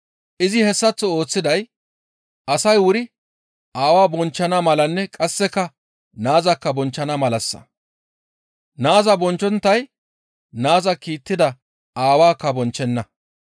Izi hessaththo ooththiday asay wuri Aawa bonchchana malanne qasseka naazakka bonchchana malassa. Naaza bonchchonttay naaza kiittida Aawaakka bonchchenna.